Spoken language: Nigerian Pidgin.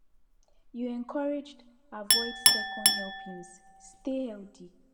you encouraged avoid second helpings stay healthy